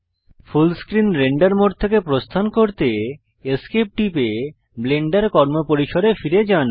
ফুল screen render mode থেকে প্রস্থান করতে Esc টিপে ব্লেন্ডার কর্মপরিসরে ফিরে যান